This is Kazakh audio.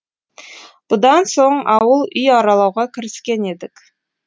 бұдан соң ауыл үй аралауға кіріскен едік